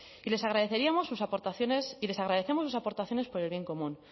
y les agradeceríamos sus aportaciones y les agradecemos sus aportaciones por el bien común